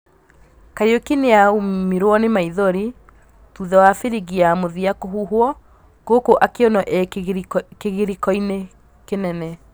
Kariuki nĩaumirwo nĩ maithori thutha wa biringi ya mũthia kũhuhwo gũkũ akĩonwo e kĩgirĩkoinĩ kĩnene.